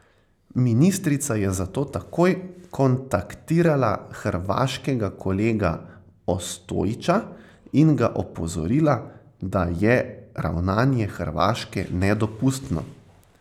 Ministrica je zato takoj kontaktirala hrvaškega kolega Ostojića in ga opozorila, da je ravnanje Hrvaške nedopustno.